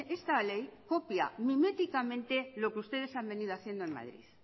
esta ley copia miméticamente lo que ustedes han venido haciendo en madrid